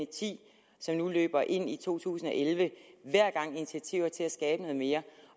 ti som nu løber ind i to tusind og elleve hver gang initiativ til at skabe noget mere